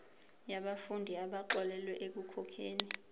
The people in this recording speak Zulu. yabafundi abaxolelwa ekukhokheni